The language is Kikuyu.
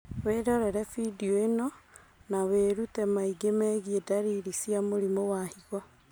Wĩrorere bindio ĩno na wĩrute maingĩ megiĩ ndariri cia mũrimũ wa higo